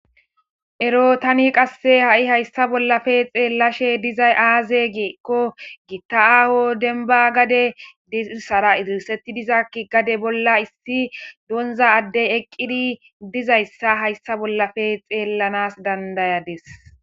Ero tani qasse ha7i hayssa bollafe xeellashe dizay aaze giekko gitta7aaho denba gade diirsara izirsetti diza ki gade bolla issi doonza addey eqqidi dizayssa hayssa bollafe xeellanas dandayades.